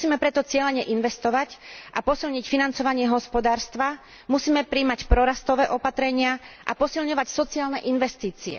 Musíme preto cielene investovať a posilniť financovanie hospodárstva, musíme prijímať prorastové opatrenia a posilňovať sociálne investície